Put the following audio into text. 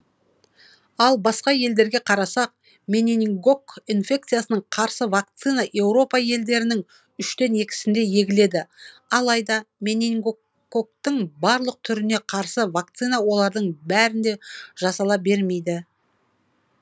ал басқа елдерге қарасақ менингококк инфекциясына қарсы вакцина еуропа елдерінің үштен екісінде егіледі алайда менингок гоктың барлық түріне қарсы вакцина олардың бәрінде жасала бермейді